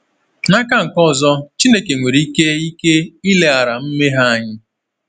N’aka nke ọzọ, Chineke nwere ike ike ileghara mmehie anya.